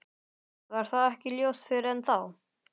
Varð það ekki ljóst fyrr en þá.